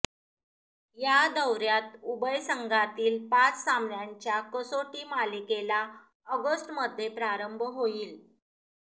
या दौऱयात उभय संघांतील पाच सामन्यांच्या कसोटी मालिकेला ऑगस्टमध्ये प्रारंभ होईल